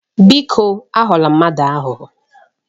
Biko aghọla ndị mmadụ aghụghọ.